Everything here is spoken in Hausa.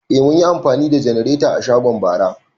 Eh, mun yi amfani da janarata a shago bara